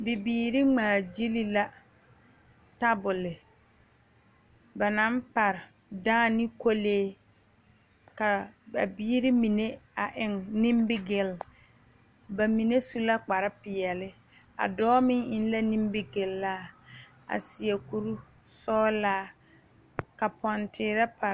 Bibiiri ŋmaagyili la tabole ba naŋ pare dãã ne kɔlee ka a biiri mine a eŋ nimigelle ba mine su la kparepeɛle a dɔɔ meŋ eŋ la nimigelaa a seɛ kurisɔglaa ka pɔnteerɛ pare.